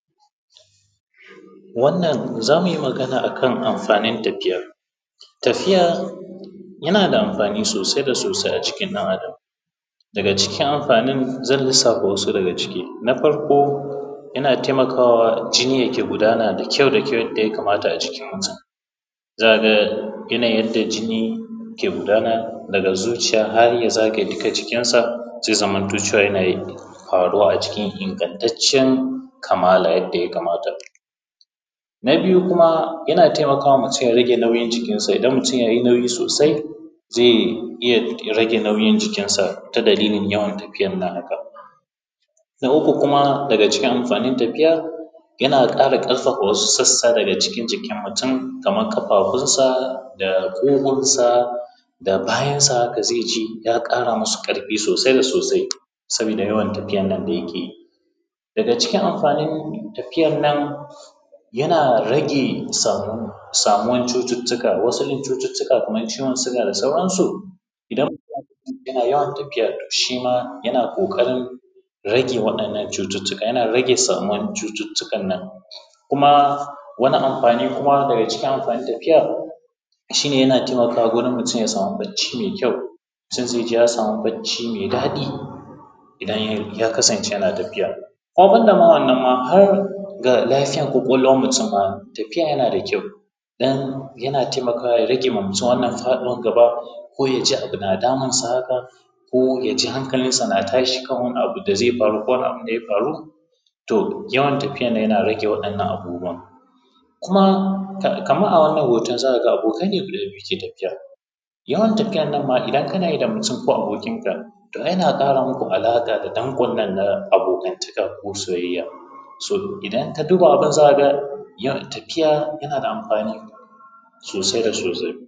Wannan za mu yi magana a kan amfanin tafiya. Tafiya yana da amfani sosai da sosai a jikin ɗan Adam. Daga cikin amfanin zan lissafa wasu daga ciki. Na farko yana taimakawa jini ya ke gudana da kyau da kyau yadda ya kamata a jikin mutum. Za ka ga yanayin da jini ke gudana daga zuciya har ya zagaye duka jikin sa, zai zamanto cewa yana ƙaruwa a jikin ingantacciyan kamala yadda ya kamata. Na biyu kuma yana taimakawa mutum ya rage nauyin jikinsa. Idan mutum ya yi nauyi sosai zai iya rage nauyin jikinsa ta dalilin yawan tafiyan nan a haka. Na uku kuma daga cikin amfanin tafiyan, yana ƙara kazaffa wasu sassa daga cikin jikin mutum kaman ƙafafunsa, da ƙugunsa, da bayansa, da zai ji ya ƙara musu ƙarfi sosai sa sosai sabida yawan tafiyannan da yake yi. Daga cikin amfanin tafiyan nan, yana rage samuwar cututtuka. Wasu cututtuka kaman ciwon siga da saransu. Idan mutum yana yawan tafiya shima yana ƙoƙarin rage waɗannan cututtuka, yana rage samuwar cututtukan nan, kuma wani amfani daga cikin amfanin tafiya shi ne yana taimakawa gurin mutum ya samu bacci mai kyau, sai ya ji ya samu bacci mai daɗi idan yakasance yana tafiya. Kuma ban da ma wannan ma har ga lafiyar ƙwaƙwalwan mutum, tafiya yana da kyau don yana taimakawa ya rage wa mutum faɗuwar gaba, ko yaji abu na damun su haka, ko ya ji hankalinsa na tashi kan wani abu da zai faru ko wani abu da ya faru. To yawan tafiya yana rage waɗannan abubuwan. Kuma Kaman a wannan hoton za ka ga abokai ne guda biyu ke tafiya. Yawan tafiyan nan ma idan kana yi da mutum, ko abokin ka yana ƙara muku alaƙa da danƙon nan na abokantakan, ko soyayya. So idan ka duba abun za ka ga yawan tafiya yana da amfani sosai da sosai.